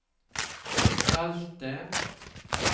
salte